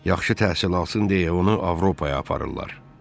Yaxşı təsir alsın deyə onu Avropaya aparırlar.